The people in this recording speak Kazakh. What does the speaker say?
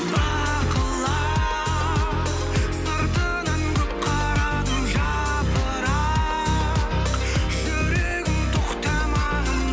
бақылап сыртынан көп қарадым жапырақ жүрегім тоқтамағын